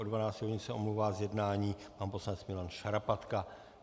Od 12 hodin se omlouvá z jednání pan poslanec Milan Šarapatka.